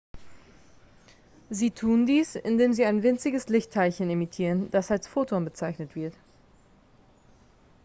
sie tun dies indem sie ein winziges lichtteilchen emittieren das als photon bezeichnet wird